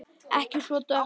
Ekki svona dökkt.